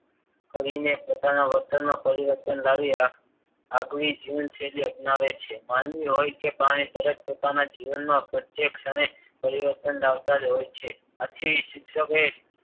કરીને પોતાના વર્તનમાં પરિવર્તન લાવી આગવી જીવનશૈલી અપનાવે છે. માનવી હોય કે પ્રાણી દરેક પોતાના જીવનમાં પ્રત્યેક ક્ષણે પરિવર્તન લાવતા જ હોય છે. આથી જ શિક્ષકે